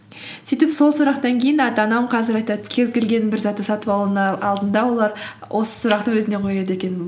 сөйтіп сол сұрақтан кейін ата анам қазір айтады кез келген бір затты сатып алудын алдында олар осы сұрақты өзіне қояды екен